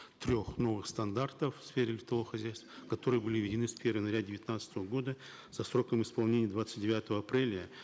трех новых стандартов в сфере лифтового хозяйства которые были введены с первого января девятнадцатого года со сроком исполнения двадцать девятого апреля